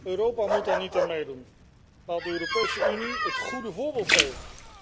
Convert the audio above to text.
Europa mag daar niet aan meedoen, maar de Europese Unie moet het goede voorbeeld geven.